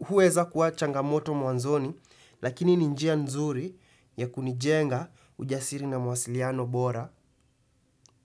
huweza kuwa changamoto mwanzoni, lakini ni njia nzuri ya kunijenga ujasiri na mawasiliano bora